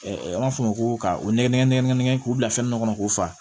an b'a fɔ o ma ko ka o nɛgɛ nɛgɛ nɛgɛ nɛgɛ nɛgɛ k'u bila fɛn dɔ kɔnɔ k'o fa